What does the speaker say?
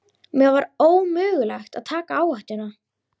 Mér var ómögulegt að taka áhættuna.